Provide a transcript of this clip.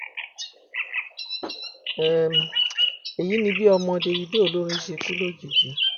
um èyí ni bí ọmọ davido olórin ṣe kú lójijì